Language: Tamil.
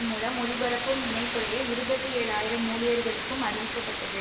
மூலம் ஒலிபரப்பும் இணைப்புடைய இருபத்தி ஏழு ஆயிரம் ஊழியர்களுக்கும் அறிவிக்கப்பட்டது